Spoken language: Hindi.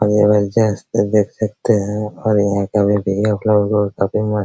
आगे में जस्ट है देख सकते है और यहां का व्यू भी लगभग काफी मस्त --